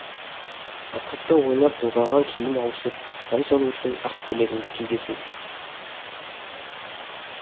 окопта ойнап былғаған киім ауысып ән салу үшін ақ көйлегімді кигесін